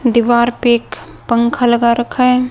दीवार पे एक पंखा लगा रखा है।